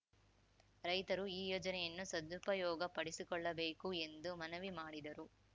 ರೈತರು ಈ ಯೋಜನೆಯನ್ನು ಸದುಪಯೋಗ ಪಡಿಸಿಕೊಳ್ಳಬೇಕು ಎಂದು ಮನವಿ ಮಾಡಿದರು